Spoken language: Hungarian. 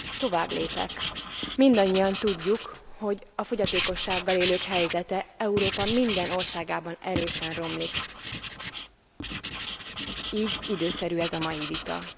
Továbblépek, mindannyian tudjuk, hogy a fogyatékossággal élők helyzete Európa minden országában erősen romlik így időszerű ez a mai vita.